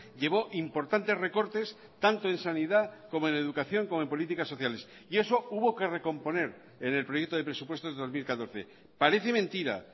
llevó importantes recortes tanto en sanidad como en educación como en políticas sociales y eso hubo que recomponer en el proyecto de presupuestos de dos mil catorce parece mentira